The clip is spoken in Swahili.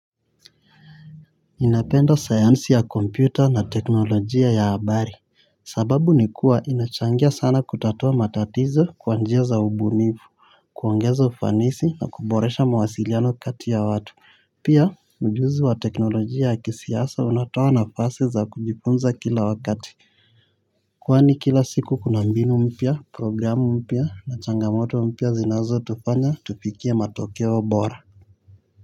Ninapenda sayansi ya kompyuta na teknolojia ya habari. Sababu ni kuwa inachangia sana kutatua matatizo kwa njia za ubunifu kuongeza ufanisi na kuboresha mawasiliano kati ya watu. Pia ujuzi wa teknolojia ya kisiasa unatoa nafasi za kujifunza kila wakati. Kwani kila siku kuna mbinu mpya, programu mpya, changamoto mpya zinazotufanya, tufikie matokeo bora.